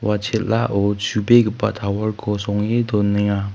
ua chel·ao chu·begipa tower-ko songe donenga.